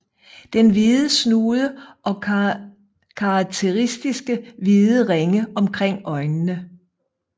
Den hvid snude og karakteristiske hvide ringe omkring øjnene